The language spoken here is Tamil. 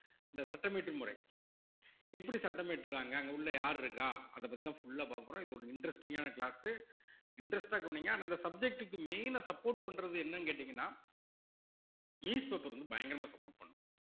இந்த சட்டம் இயற்றும் முறை எப்படி சட்டம் இயற்றுறாங்க அங்க உள்ள யார் இருக்கா அதப் பத்திதான் full ஆ பாக்கப்போறோம் இது ஒரு interesting ஆன class உ interest ஆ கவனிங்க ஆனா இந்த subject க்கு main ஆ support பண்றது என்னன்னு கேட்டீங்கன்னா வந்து பயங்கரமா support பண்ணும்